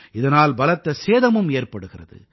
இதனால் பலத்த சேதமும் ஏற்படுகிறது